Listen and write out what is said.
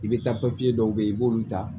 I bɛ taa dɔw bɛ ye i b'olu ta